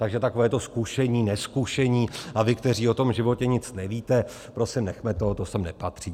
Takže takové to zkušení, nezkušení, a vy, kteří o tom životě nic nevíte - prosím nechme toho, to sem nepatří.